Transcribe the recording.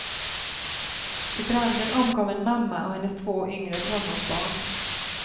Vid branden omkom en mamma och hennes två yngre tonårsbarn.